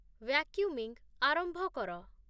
vacuuming ଆରମ୍ଭ କର